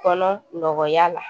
Kɔnɔ nɔgɔya la